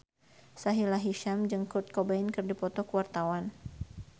Sahila Hisyam jeung Kurt Cobain keur dipoto ku wartawan